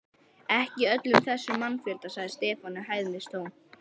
Ekki í öllum þessum mannfjölda, sagði Stefán í hæðnistón.